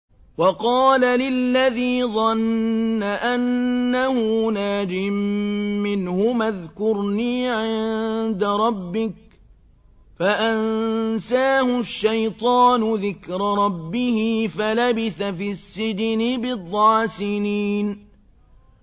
وَقَالَ لِلَّذِي ظَنَّ أَنَّهُ نَاجٍ مِّنْهُمَا اذْكُرْنِي عِندَ رَبِّكَ فَأَنسَاهُ الشَّيْطَانُ ذِكْرَ رَبِّهِ فَلَبِثَ فِي السِّجْنِ بِضْعَ سِنِينَ